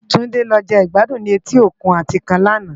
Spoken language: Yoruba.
Tunde lò je gbàdún ni éti ókún Atikán làná